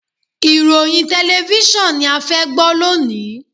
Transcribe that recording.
Ìròyìn tẹlẹfísọ̀n ni a fẹ́ gbọ́ lónìí.